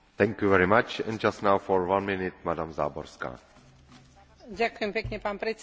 Venujem sa dlhodobo ľudským právam, a preto ľutujem, že som nemohla podporiť túto správu.